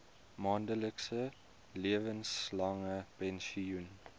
maandelikse lewenslange pensioen